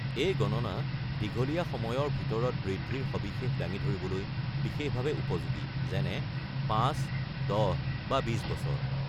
এই গণনা দীঘলীয়া সময়ৰ ভিতৰত বৃদ্ধিৰ সবিশেষ দাঙি ধৰিবলৈ বিশেষভাৱে উপযোগী, যেনে ৫, ১০, বা ২০ বছৰ।